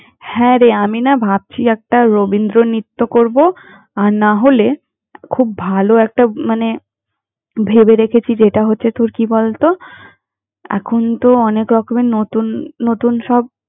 হ্যাঁ রে, আমি না ভাবছি একটা রবীন্দ্রনৃত্য করব আর না হলে খুব ভালো একটা মানে ভেবে রেখেছি যেটা হচ্ছে তোর কি বলত! এখন তো অনেকরকমের নতুন নতুন সব।